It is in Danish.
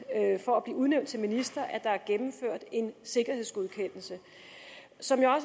for at blive udnævnt til minister at der er gennemført en sikkerhedsgodkendelse som jeg